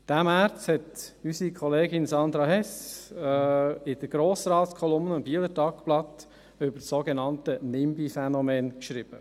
Diesen März hat unsere Kollegin Sandra Hess in der Grossratskolumne im «Bieler Tagblatt» über das sogenannte Nimby-Phänomen geschrieben: